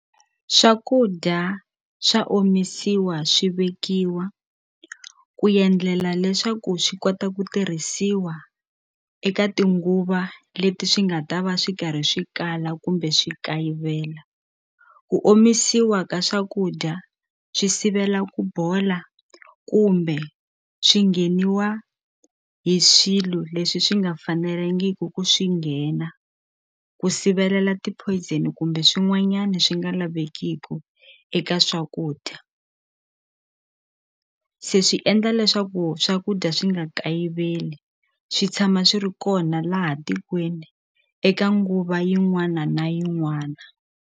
Swakudya swa omisiwa swi vekiwa ku endlela leswaku swi kota ku tirhisiwa eka tinguva leti swi nga ta va swi karhi swi kala kumbe swi kayivela ku omisiwa ka swakudya swi sivela ku bola kumbe swi ngheniwa hi swilo leswi swi nga fanelangiku ku swi nghena ku sivelela ti poison kumbe swin'wanyani swi nga lavekiku eka swakudya se swi endla leswaku swakudya swi nga kayiveli swi tshama swi ri kona laha tikweni eka nguva yin'wana na yin'wana.